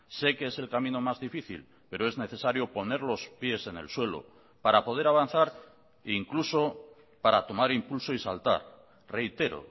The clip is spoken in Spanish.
sé que es el camino más difícil pero es necesario poner los pies en el suelo para poder avanzar incluso para tomar impulso y saltar reitero